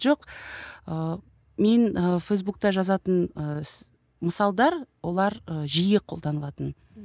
жоқ ыыы мен ы фейсбукта жазатын ы мысалдар олар і жиі қолданылатын